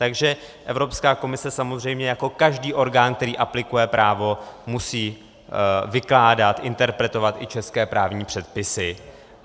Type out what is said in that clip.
Takže Evropská komise samozřejmě jako každý orgán, který aplikuje právo, musí vykládat, interpretovat i české právní předpisy.